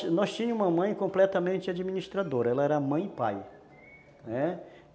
Bom, nós tínhamos uma mãe completamente administradora, ela era mãe e pai, né.